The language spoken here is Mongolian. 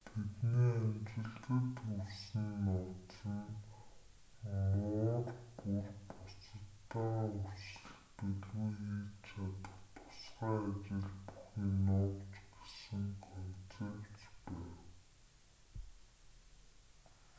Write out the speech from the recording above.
тэдний амжилтад хүрсэн нууц нь муур бүр бусадтайгаа өрсөлдөлгүй хийж чадах тусгай ажил бүхий нуувч гэсэн концепц байв